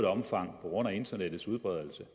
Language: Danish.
omfang på grund internettets udbredelse